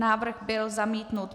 Návrh byl zamítnut.